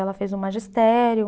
Ela fez o magistério.